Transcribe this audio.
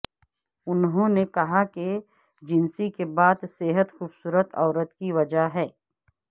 انہوں نے کہا کہ جنسی کے بعد صحت خوبصورت عورت کی وجہ ہے